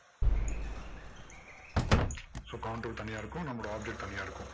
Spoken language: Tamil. so counter தனியா இருக்கும். நம்மளோட object தனியா இருக்கும்.